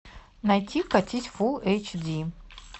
найти катить фулл эйч ди